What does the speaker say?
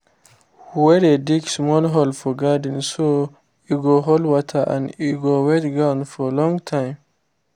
we dey dig small hole for garden so e go hold water and e go wet ground for long time